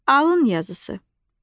Alın yazısı.